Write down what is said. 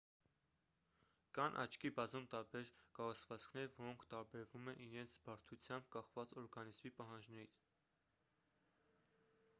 կան աչքի բազում տարբեր կառուցվածքներ որոնք տարբերվում են իրենց բարդությամբ կախված օրգանիզմի պահանջներից